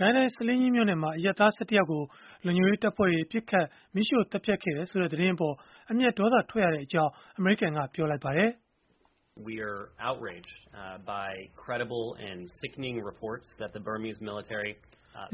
ကိုင်းတိုင်း ဆားလင်းကြီးမြို့နယ်မှာ အရပ်သား ၁၁ ယောက်ကို လုံခြုံရေးတပ်ဖွဲ့တွေ ပစ်ခတ်၊ မီးရှို့သတ်ဖြတ်ခဲ့တယ်ဆိုတဲ့ သတင်းအပေါ် အမျက်ဒေါသထွက်ရကြောင်း အမေရိကန်က ပြောလိုက်ပါတယ်။ “မြ